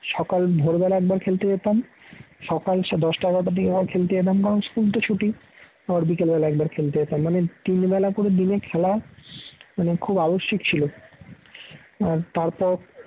সকাল ভোরবেলা একবার খেলতে যেতাম সকাল দশটা এগারোটার দিকে একবার খেলতে যেতাম কারণ school তো ছুটি আবার বিকেল বেলা একবার খেলতে যেতাম। মানে তিন বেলা করে দিনে খেলা মানে খুব আবশ্যিক ছিল। আর তারপর